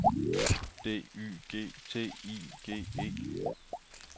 D Y G T I G E